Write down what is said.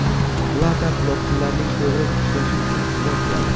Plata quloqchinlarning to‘g‘ri ishlashi uchun xizmat qiladi.